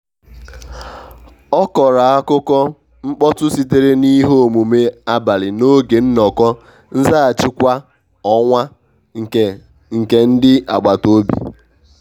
a kọrọ akukọ mkpọtụ sitere n’ihe omume abalị n’oge nnọkọ nzaghachi kwa ọnwa nke nke ndi agbata obi.